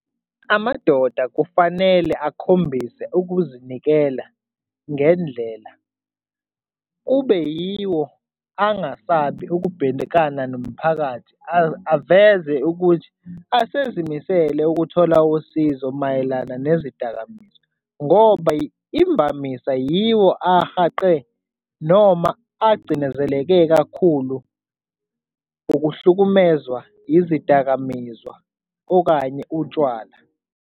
Amadoda kufanele akhombise ukuzinikela ngendlela kube yiwo angasabi ukubhekana nomphakathi aveze ukuthi azimisele ukuthola usizo mayelana nezidakamizwa ngoba imvamisa yiwo ahaqe noma acindezeleke kakhulu ukuhlukumezwa izidakamizwa okanye utshwala.